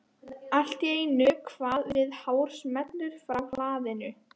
Allt í einu kvað við hár smellur frá hlaðinu.